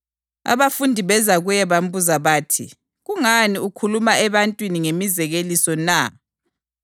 Abafundi beza kuye bambuza bathi, “Kungani ukhuluma ebantwini ngemizekeliso na?”